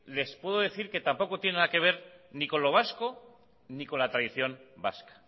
les puedo decir que tampoco tiene nada que ver ni con lo vasco ni con la tradición vasca